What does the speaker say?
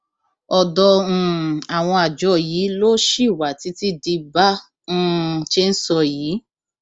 ọdọ um àwọn àjọ yìí ló ṣì wà títí di bá um a ṣe ń sọ yìí